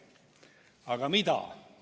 Aga mida?